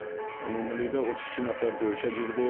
Ümumilikdə 32 nəfər döyüşə girdi.